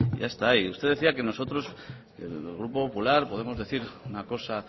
ya está ahí usted decía que nosotros en el grupo popular podemos decir una cosa